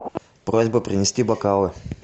просьба принести бокалы